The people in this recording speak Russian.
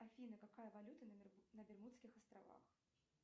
афина какая валюта на бермудских островах